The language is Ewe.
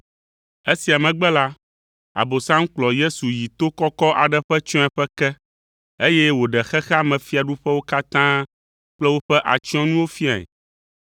Esia megbe la, Abosam kplɔ Yesu yi to kɔkɔ aɖe ƒe tsyɔ̃eƒe ke, eye wòɖe xexea me fiaɖuƒewo katã kple woƒe atsyɔ̃nuwo fiae.